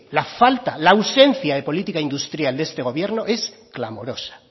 la falta la ausencia de política industrial de este gobierno es clamorosa